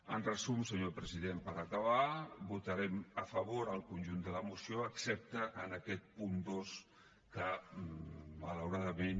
en resum senyor president per acabar votarem a favor al conjunt de la moció excepte en aquest punt dos que malauradament